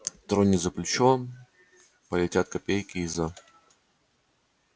тронет за плечо он полетят копейки из-за